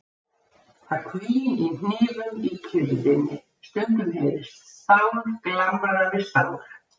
Það hvín í hnífum í kyrrðinni, stundum heyrist stál glamra við stál.